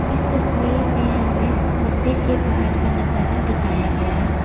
इस तस्वीर में हमें मंदिर के बाहर का नजारा दिखाया गया है।